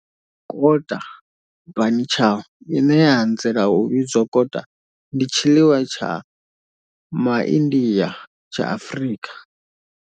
Kota, bunny chow, ine ya anzela u vhidzwa kota, ndi tshiḽiwa tsha MA India tsha Afrika.